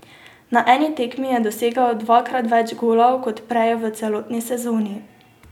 Na eni tekmi je dosegel dvakrat več golov kor prej v celotni sezoni.